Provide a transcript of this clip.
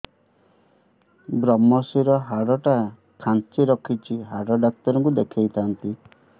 ଵ୍ରମଶିର ହାଡ଼ ଟା ଖାନ୍ଚି ରଖିଛି ହାଡ଼ ଡାକ୍ତର କୁ ଦେଖିଥାନ୍ତି